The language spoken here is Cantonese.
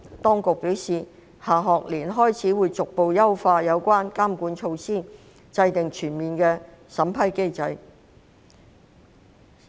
當局表示，下學年開始會逐步優化有關的監管措施，並制訂全面的審批機制。